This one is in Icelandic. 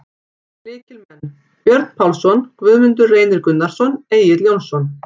Lykilmenn: Björn Pálsson, Guðmundur Reynir Gunnarsson, Egill Jónsson.